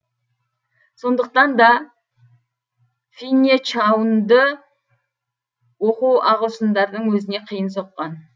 сондықтан да финнечаунды оқу ағылшындардың өзіне қиын соққан